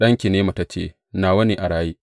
Ɗanki ne mataccen, nawa ne a raye.’